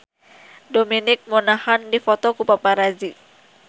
Dominic Monaghan dipoto ku paparazi